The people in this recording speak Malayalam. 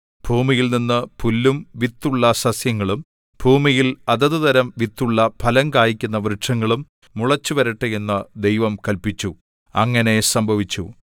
ഭൂമിയിൽനിന്നു പുല്ലും വിത്തുള്ള സസ്യങ്ങളും ഭൂമിയിൽ അതത് തരം വിത്തുള്ള ഫലം കായിക്കുന്ന വൃക്ഷങ്ങളും മുളച്ചുവരട്ടെ എന്നു ദൈവം കല്പിച്ചു അങ്ങനെ സംഭവിച്ചു